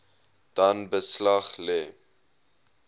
dan beslag lê